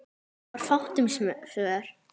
Það var fátt um svör.